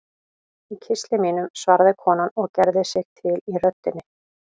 Í kistli mínum, svaraði konan og gerði sig til í röddinni.